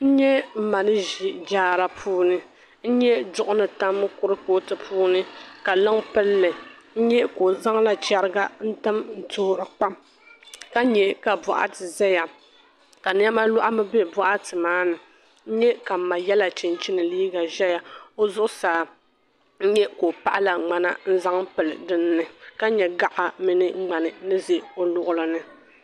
N nya m ma ni ʒi jaara puuni. N nya duɣu ni tam kurifootu zuɣu ka liŋa pili li. N nya ka o zaŋla chɛriga n-tim toori kpaam ka nya ka bɔɣati zaya ka nɛma lɔhimi m-be bɔɣati maa ni. N nya ka m ma yɛla chinchini liiga zaya. O zuɣusaa n nya ka o paɣila ŋmana n-zaŋ pili dinni ka nya gaɣa mini ŋmani ni za o luɣili ni.